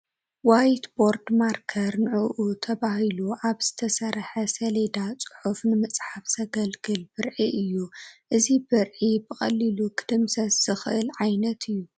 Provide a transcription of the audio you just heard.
ዋይት ቦርድ ማርከር ንዑዑ ተባሂሉ ኣብ ዝተሰርሐ ሰሌዳ ፅሑፍ ንምፅሓፍ ዘግልግል ብርዒ እዩ፡፡ እዚ ብርዒ ብቐሊሉ ክድምሰስ ዝኽእል ዓይነት እዩ፡፡